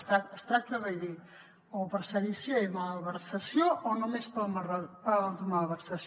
es tracta de dir o per sedició i malversació o només per malversació